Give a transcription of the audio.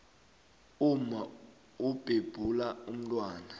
umma ubhebhula umntwana